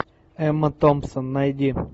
эмма томпсон найди